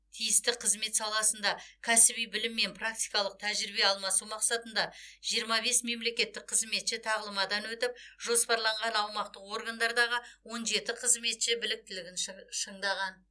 тиісті қызмет саласында кәсіби білім мен практикалық тәжірибе алмасу мақсатында жиырма бес мемлекеттік қызметші тағылымдамадан өтіп жоспарланған аумақтық органдардағы он жеті қызметші біліктілігін шын шыңдаған